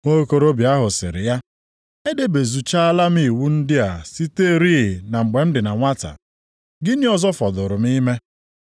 Nwokorobịa ahụ sịrị ya, “Edebezuchaala m iwu ndị a siterịị na mgbe m dị na nwata. Gịnị ọzọ fọdụụrụ m ime?”